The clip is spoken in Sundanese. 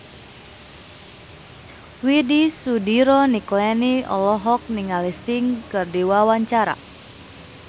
Widy Soediro Nichlany olohok ningali Sting keur diwawancara